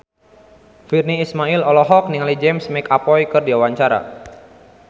Virnie Ismail olohok ningali James McAvoy keur diwawancara